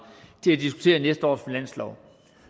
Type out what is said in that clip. til at diskutere næste års finanslov